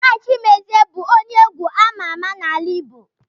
Bright Chimezie bụ onye egwu amà amà n'ala Igbo.